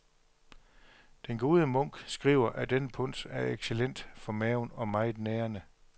Den gode munk skriver, at denne punch er excellent for maven og meget nærende.